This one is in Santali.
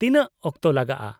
ᱛᱤᱱᱟᱹᱜ ᱚᱠᱛᱚ ᱞᱟᱜᱟᱜᱼᱟ ?